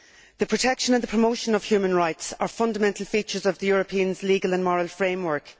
The protection and the promotion of human rights are fundamental features of the European Union's moral and legal framework.